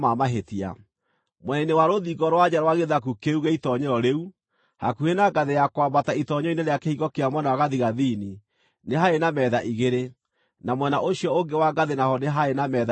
Mwena-inĩ wa rũthingo rwa na nja rwa gĩthaku kĩu gĩa itoonyero rĩu, hakuhĩ na ngathĩ ya kwambata itoonyero-inĩ rĩa kĩhingo kĩa mwena wa gathigathini nĩ haarĩ na metha igĩrĩ, na mwena ũcio ũngĩ wa ngathĩ naho nĩ haarĩ na metha ingĩ igĩrĩ.